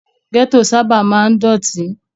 Gẹ́tò sábà máa ń dọ̀tí.